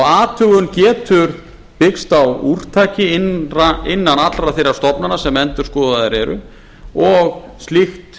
athugun getur byggst á úrtaki innan allra þeirra stofnana sem endurskoðaðar eru og slíkt